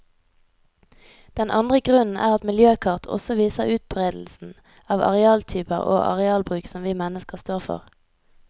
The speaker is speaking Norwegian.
Den andre grunnen er at miljøkart også viser utberedelsen av arealtyper og arealbruk som vi mennesker står for.